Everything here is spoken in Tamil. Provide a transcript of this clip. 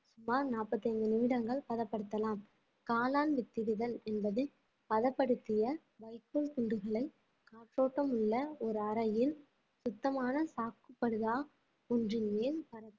சுமார் நாற்பத்தி ஐந்து நிமிடங்கள் பதப்படுத்தலாம் காளான் வித்திடுதல் என்பது பதப்படுத்திய வைக்கோல் துண்டுகளை காற்றோட்டம் உள்ள ஒரு அறையில் சுத்தமான சாக்கு படுதா ஒன்றின் மேல் பரப்பி